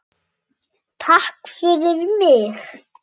Góð ástæða er fyrir því.